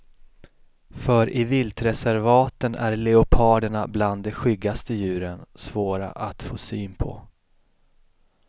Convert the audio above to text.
För i viltreservaten är leoparderna bland de skyggaste djuren, svåra att få syn på.